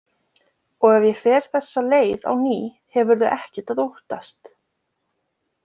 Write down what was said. Og ef ég fer þessa leið á ný hefurðu ekkert að óttast.